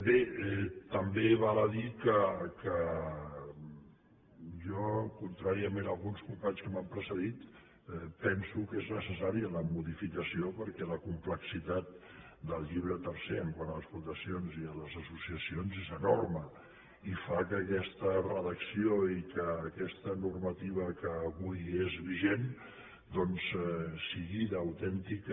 bé també val a dir que jo contràriament a alguns companys que m’han precedit penso que és necessària la modificació perquè la complexitat del llibre tercer quant a les fundacions i les associacions és enorme i fa que aquesta redacció i que aquesta normativa que avui és vigent doncs sigui d’autèntica